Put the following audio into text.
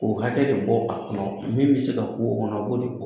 Ko hakɛ de bɔ a kɔnɔ min be se ka ku o kɔnɔ a b'o de